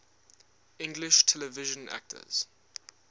english television actors